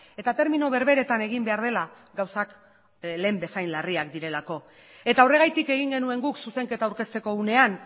eta termino berberetan egin behar dela gauzak lehen bezain larriak direlako eta horregatik egin genuen guk zuzenketa aurkezteko unean